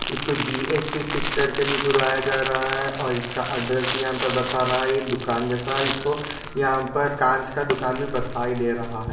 इसको GSP. Fish करके भी बुलाया जा रहा है और इसका एड्रैस भी यहा पर बता रहा है ये दुकान जैसा है इसको यहा पर काँच का दुकान भी बताही दे रहा।